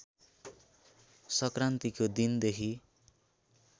संक्रान्तिको दिन देखि